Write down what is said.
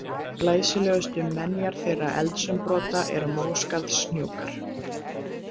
Glæsilegustu menjar þeirra eldsumbrota eru Móskarðshnúkar.